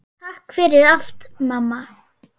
Takk fyrir allt, mamma.